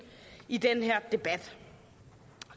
i den her debat